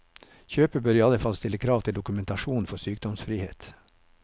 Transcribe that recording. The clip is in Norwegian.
Kjøper bør i alle fall stille krav til dokumentasjon for sykdomsfrihet.